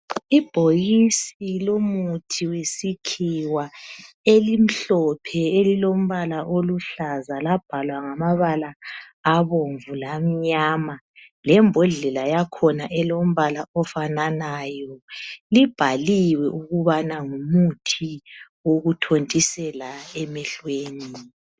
Ibhokisi lomuthi wesikhiwa elimhlophe elilombala oluhlaza labhalwa ngamabala abomvu la mnyama. Lembodlela yakhona elombala ofananayo. Libhaliwe ukubana ngumuthi wokuthontisela emehlweni.